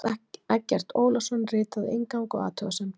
Evrópusambandið veitir Pakistan neyðaraðstoð